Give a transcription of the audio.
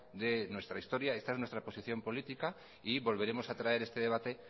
de nuestra historia esta es nuestra posición política y volveremos a traer este debate